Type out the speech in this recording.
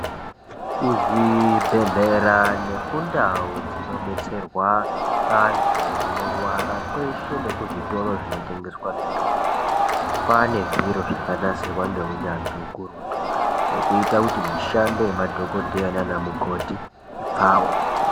Kuzvibhedywera nekundau dzinobetserwa andu anorwara, kweshe nekuzvitoro zvinotengeswa mitombo kwaa nezviro zvakanatsirwaa ngeunyanzvi hukurutu zviri kuita kuti mishando yemadhokodheya nanamukoti ipfawe.